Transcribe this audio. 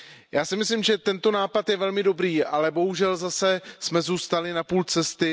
víza. Já si myslím, že tento nápad je velmi dobrý, ale bohužel jsme zase zůstali na půl cesty.